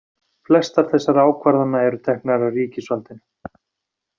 Flestar þessara ákvarðana eru teknar af ríkisvaldinu.